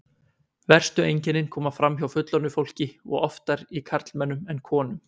Verstu einkennin koma fram hjá fullorðnu fólki og oftar í karlmönnum en konum.